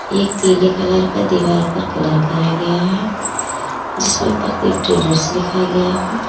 एक पीले कलर का दीवार पर कलर करा गया है जिसमें प्रदीप ट्रेडर्स लिखा गया है।